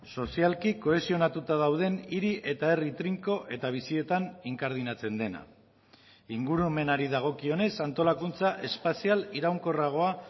sozialki kohesionatuta dauden hiri eta herri trinko eta bizietan inkardinatzen dena ingurumenari dagokionez antolakuntza espazial iraunkorragoa